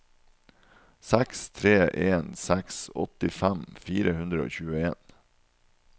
seks tre en seks åttifem fire hundre og tjueen